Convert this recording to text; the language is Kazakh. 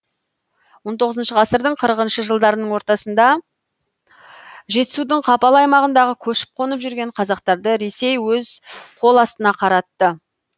он тоғызыншы ғасырдың қырықыншы жылдарының ортасында жетісудың қапал аймағында көшіп қонып жүрген қазақтарды ресей өз қол астына қаратты